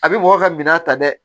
A bɛ mɔgɔ ka minan ta dɛ